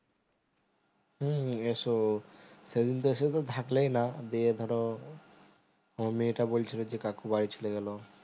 হুম হুম এসো সেইদিন তো শুধু থাকলেই না দিয়ে ধরো আমার মেয়েটা বলছিল যে কাকু বাড়ি চলে গেলো